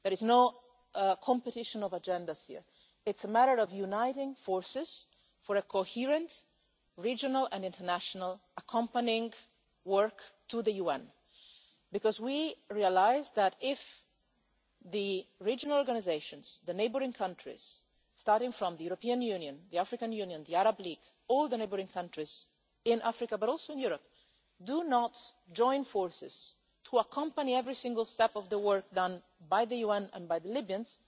map. There is no competition between agendas here. It's a matter of uniting forces for a coherent, regional and international accompanying work to the UN, because we realised that if the regional organisations, the neighbouring countries, starting from the European Union, the African Union, the Arab League, all the neighbouring countries in Africa but also in Europe, do not join forces to accompany every single step of the work done by the UN and by the